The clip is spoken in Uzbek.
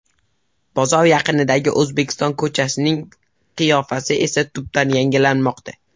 Bozor yaqinidagi ‘O‘zbekiston’ ko‘chasining qiyofasi esa tubdan yangilanmoqda.